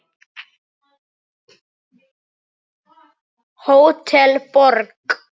Hótel Borg.